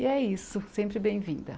E é isso, sempre bem-vinda.